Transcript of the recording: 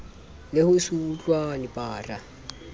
le ho se utlwane bara